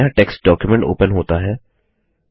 एक नया text document open होता है